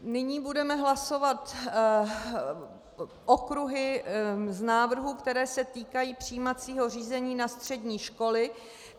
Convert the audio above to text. Nyní budeme hlasovat okruhy z návrhů, které se týkají přijímacího řízení na střední školy.